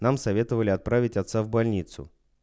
нам советовали отправить отца в больницу